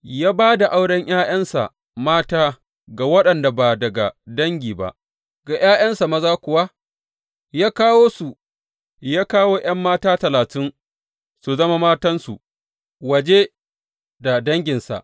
Ya ba da auren ’ya’yansa mata ga waɗanda ba daga dangi ba, ga ’ya’yansa maza kuwa ya kawo ’yan mata talatin su zama matansu waje da danginsa.